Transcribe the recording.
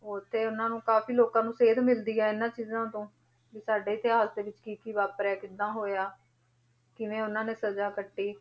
ਉੱਥੇ ਉਹਨਾਂ ਨੂੰ ਕਾਫ਼ੀ ਲੋਕਾਂ ਨੂੰ ਸੇਧ ਮਿਲਦੀ ਹੈ ਇਹਨਾਂ ਚੀਜ਼ਾਂ ਤੋਂ ਵੀ ਸਾਡੇ ਇਤਿਹਾਸ ਦੇ ਵਿੱਚ ਕੀ ਕੀ ਵਾਪਰਿਆ ਕਿੱਦਾਂ ਹੋਇਆ, ਕਿਵੇਂ ਉਹਨਾਂ ਨੇ ਸਜਾ ਕੱਟੀ।